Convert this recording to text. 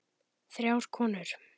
Þrjár konur